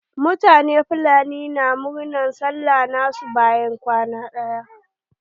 Mutanen fulani na murnar sallah na su bayan kwana ɗaya.